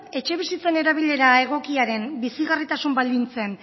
etxebizitzen erabilera egokiaren bizigarritasun baldintzen